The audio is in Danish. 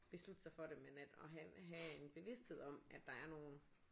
Beslutte sig for det men at og have have en bevidsthed om at der er nogen